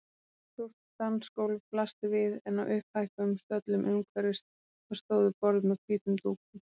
Stórt dansgólf blasti við en á upphækkuðum stöllum umhverfis það stóðu borð með hvítum dúkum.